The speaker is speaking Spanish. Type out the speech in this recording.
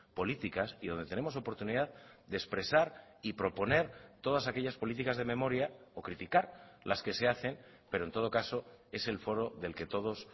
políticas y donde tenemos oportunidad de expresar y proponer todas aquellas políticas de memoria o criticar las que se hacen pero en todo caso es el foro del que todos